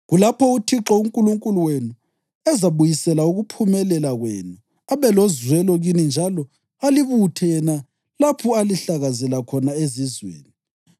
kulapho uThixo uNkulunkulu wenu ezabuyisela ukuphumelela kwenu abe lozwelo kini njalo alibuthe yena lapho alihlakazela khona ezizweni.